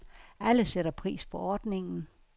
Alle sætter pris på ordningen.